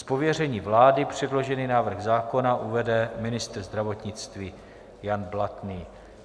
Z pověření vlády předložený návrh zákona uvede ministr zdravotnictví Jan Blatný.